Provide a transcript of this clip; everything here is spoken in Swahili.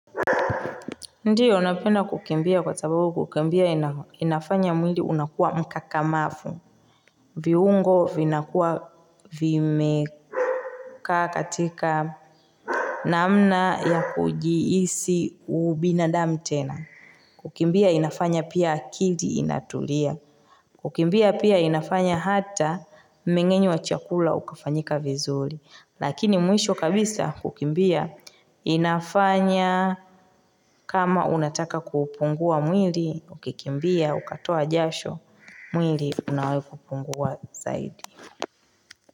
Ndiyo, napenda kukimbia kwa sababu kukimbia inafanya mwili unakuwa mkakamavu. Viungo vinakuwa vimekaa katika namna ya kujihisi ubinadamu tena Kukimbia inafanya pia akili inatulia Kukimbia pia inafanya hata mmeng'enyo wa chakula ukafanyika vizuri. Lakini mwisho kabisa kukimbia inafanya kama unataka kuupungua mwili, ukikimbia ukatoa jasho, mwili unakupungua zaidi.